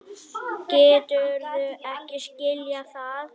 Geturðu ekki skilið það?